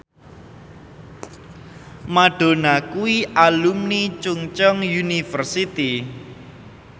Madonna kuwi alumni Chungceong University